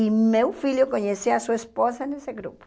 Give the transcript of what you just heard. E meu filho conhecia a sua esposa nesse grupo.